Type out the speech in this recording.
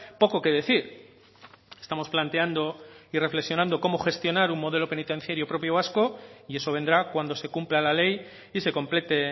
poco que decir estamos planteando y reflexionando cómo gestionar un modelo penitenciario propio vasco y eso vendrá cuando se cumpla la ley y se complete